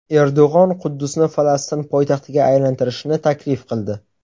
Erdo‘g‘on Quddusni Falastin poytaxtiga aylantirishni taklif qildi .